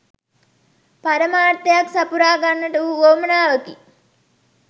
පරමාර්ථයක් සපුරා ගන්නට වූ උවමනාවකි.